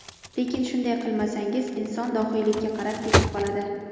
Lekin shunday qilmasangiz, inson dohiylikka qarab ketib qoladi.